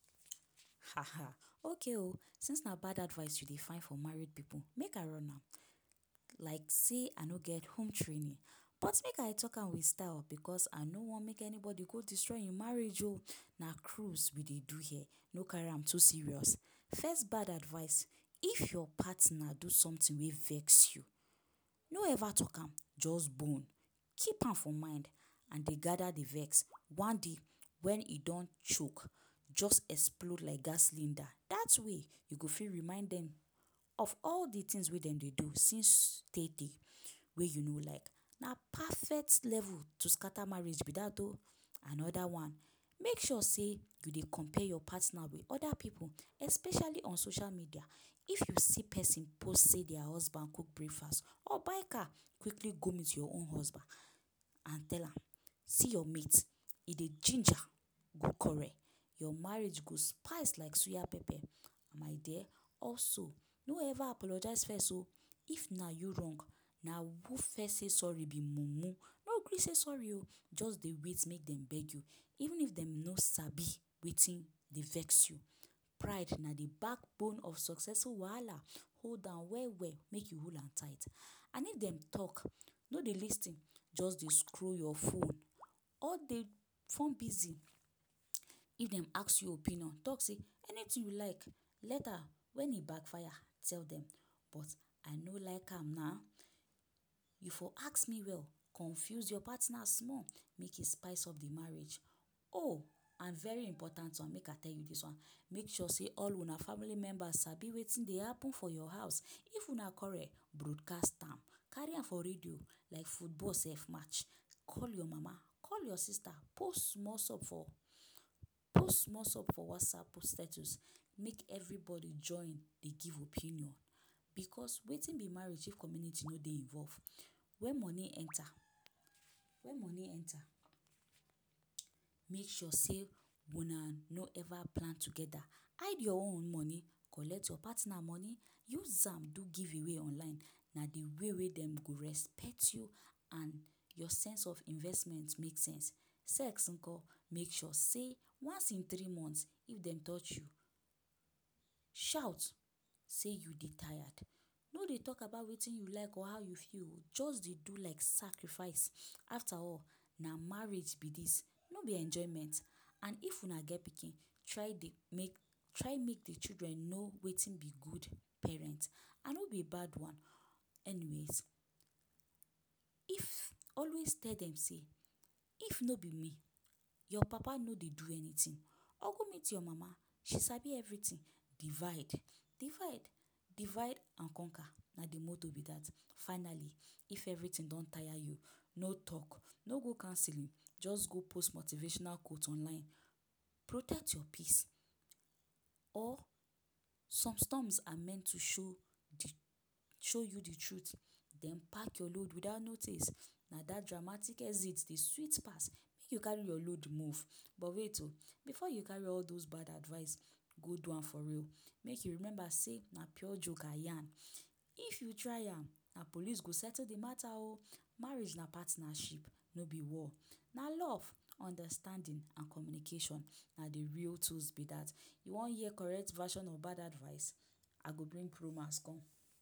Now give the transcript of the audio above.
Okay o! Since na bad advice you dey find for married pipu, make I run am like sey I no get home training. But make I talk am with style because I no wan make anybody go destroy im marriage o! Na cruise we dey do here, no carry am too serious. First bad advice. If your partner do something wey vex you, no ever talk am, just bone, keep am for mind and dey gather the vex. One day, when e don choke, just explode like gas cylinder. Dat way, you go fit remind dem of all de things wey dem dey do wey since tey-tey wey you no like. Na perfect level to scatter marriage be that o! Another one. Make sure sey you dey compare your partner with other pipu especially on social media. If you see pesin post sey dia husband cook breakfast or buy car, quickly go meet your own husband and tell am ‘see your mate, e dey ginger ’. Your marriage go spice like suya pepper. My dear, also, no ever apologize first o! If na you wrong, na who first say sorry be mumu. No gree say sorry o. Just dey wait make dem beg you, even if dem no sabi wetin dey vex you. Pride na de backbone of successful wahala, hold am well-well make you hold am tight. And if dem dey talk, no dey lis ten. Just dey scroll your phone or dey form busy. If dem ask you opinion, talk say ’anything you like’. Later, when e backfire, tell dem ‘but I no like am na? you for ask me well’. Confuse your partner small make e spice up the marriage. Oh! And very important one make I tell you dis one. Make sure sey all una family members sabi wetin dey happen for your house. If una quarrel, broadcast am. Carry am for radio like football sef match. Call your mama, call your sister, post small for post small for WhatsApp post status make everybody join dey give opinion. Because wetin be marriage if community no dey involve? Wen money enter wen money enter, make sure sey una no ever plan together. Hide your own money, collect your partner money, use am do giveaway online, na de way wey dem go respect you and your sense of investment make sense. Sex nko? Make sure sey once in three months, if dem touch you, shout sey you dey tired. No dey talk about wetin you like or how you feel o! Just dey do like sacrifice. After all, na marriage be dis, no be enjoyment. And if una get pikin, try dey make try make de children know wetin be good parent. I no be bad one anyways. If always tell dem sey, ‘if no be me, your papa no dey do anything’. Or go meet your mama, she sabi everything, divide divide divide and conquer. Na the motto be that. Finally, if everything don tire you, no talk, no go counselling, just go post motivational quote online ‘protect your peace’ or ‘some storms are meant to show show you de truth’. Den pack your load without notice, na dat dramatic exit dey sweet pass. Make you carry your load move. But wait o, before you carry all those bad advice go do am for real, make you remember sey na pure joke I yarn. If you try am, na police go settle the mata o! marriage na partnership, no be war. Na love, understanding and communication. Na the real tools be dat. You wan hear correct version of bad advice, I go bring pro max come.